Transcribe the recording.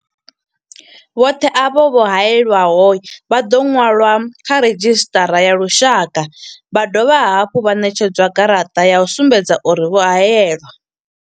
Vhoṱhe avho vho hae lwaho vha ḓo ṅwalwa kha redzhisṱara ya lushaka vha dovha hafhu vha ṋetshedzwa garaṱa ya u sumbedza uri vho haelwa.